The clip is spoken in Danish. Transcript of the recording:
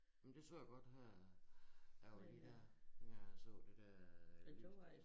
Men det så jeg godt her der var da de dér jeg så de der øh lys